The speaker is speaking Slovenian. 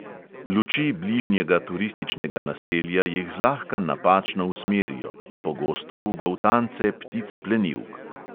Luči bližnjega turističnega naselja jih zlahka napačno usmerijo, pogosto v goltance ptic plenilk.